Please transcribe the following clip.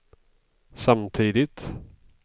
samtidigt